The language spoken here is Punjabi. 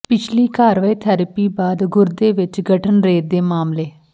ਪਿਛਲੀ ਕਰਵਾਏ ਥੈਰੇਪੀ ਬਾਅਦ ਗੁਰਦੇ ਵਿੱਚ ਗਠਨ ਰੇਤ ਦੇ ਮਾਮਲੇ